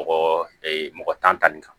Mɔgɔ mɔgɔ tan nin kan